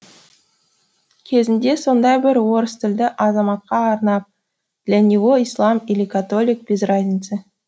кезінде сондай бір орыс тілді азаматқа арнап для него ислам или католик без разницы